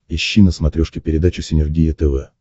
ищи на смотрешке передачу синергия тв